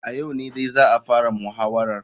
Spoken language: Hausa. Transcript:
A yau ne dai za a fara muhawarar.